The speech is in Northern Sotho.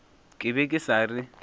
ke be ke sa re